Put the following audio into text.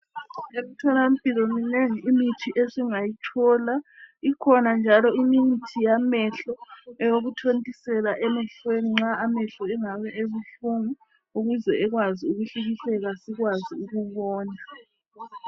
Emtholampilo, minengi imithi esingayithola. Ikhona njalo imithi yamehlo eyokuthontisela emehlweni nxa amehlo engabe ebuhlungu ukuze ekwazi ukuhlikihleka sikwazi ukubona.